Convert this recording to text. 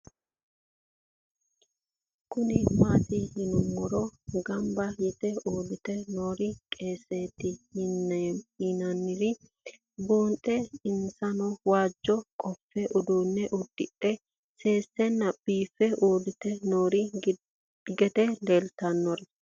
Kuni maat yiinumoro gamba yee uure noore weesete yinnanire bunxana insano waajo qofe udune udire sesena bife urite noo gede leelanori?